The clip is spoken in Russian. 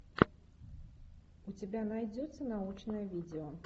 у тебя найдется научное видео